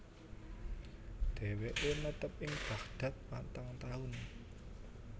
Dheweke netep ing Baghdad patang taun